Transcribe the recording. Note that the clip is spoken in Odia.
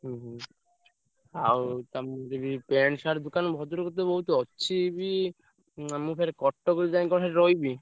ହୁଁ ହୁଁ। ଆଉ ତମର ବି pant, shirt ଦୋକାନ ଭଦ୍ରକରେ ତ ବହୁତ୍ ଅଛି ବି ମୁଁ ଫେରେ ~କ କଟକରୁ କଣ ଯାଇ ସେଠି ରହିବି?